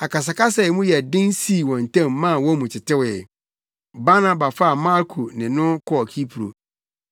Akasakasa a emu yɛ den sii wɔn ntam maa wɔn mu tetewee. Barnaba faa Marko ne no kɔɔ Kipro